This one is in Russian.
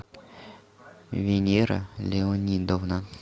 венера леонидовна